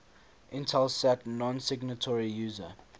intelsat nonsignatory user